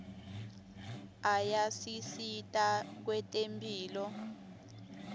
ayasisita kwetemphilo